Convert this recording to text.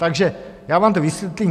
Takže já vám to vysvětlím.